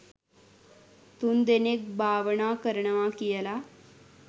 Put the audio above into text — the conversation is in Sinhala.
තුන් දෙනෙක් භාවනා කරනවා කියල.